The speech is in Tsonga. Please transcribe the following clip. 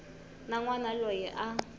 na n wana loyi a